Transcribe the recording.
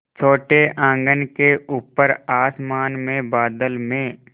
छोटे आँगन के ऊपर आसमान में बादल में